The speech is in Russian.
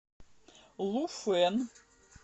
луфэн